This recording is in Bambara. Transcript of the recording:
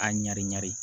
A ɲari ɲari